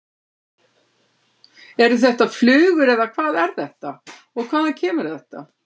Eru þetta flugur eða hvað er þetta og hvaðan kemur þetta?